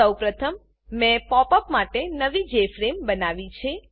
સૌપ્રથમ મેં pop up માટે નવી જેએફઆરએમઈ જેફ્રેમ બનાવી છે